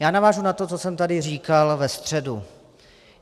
Já navážu na to, co jsem tady říkal ve středu.